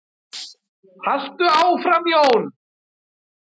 Haltu áfram Jón!